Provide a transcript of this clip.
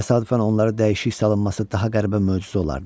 Təsadüfən onların dəyişik salınması daha qəribə möcüzə olardı.